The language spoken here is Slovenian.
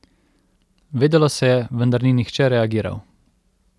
Vedelo se je, vendar ni nihče reagiral.